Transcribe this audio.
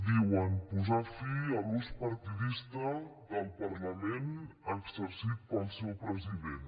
diuen posar fi a l’ús partidista del parlament exercit pel seu president